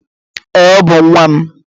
Ee, Ọ bú nwa m